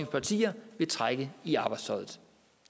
partier vil trække i arbejdstøjet